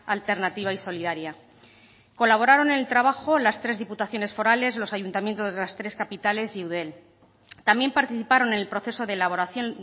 alternativa y solidaria colaboraron en el trabajo las tres diputaciones forales los ayuntamientos de las tres capitales y eudel también participaron en el proceso de elaboración